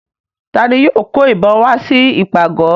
Ta ni yóò kó ìbọn wá sí ìpàgọ̀?